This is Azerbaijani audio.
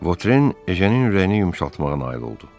Votren Ejenin ürəyini yumşaltmağa nail oldu.